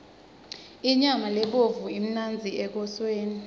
inyama lebovu imnandzi ekoseni